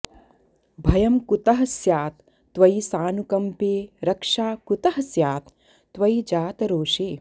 भयं कुतः स्यात् त्वयि सानुकंपे रक्षा कुतः स्यात् त्वयि जातरोषे